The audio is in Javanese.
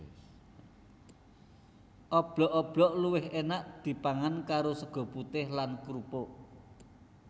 Oblok oblok luwih énak dipangan karo sega putih lan krupuk